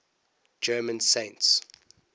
german saints